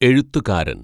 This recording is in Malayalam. എഴുത്തുകാരന്‍